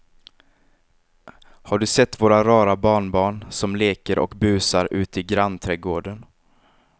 Har du sett våra rara barnbarn som leker och busar ute i grannträdgården!